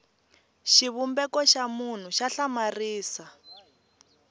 xivumbeko xa munhu xa hlamarisa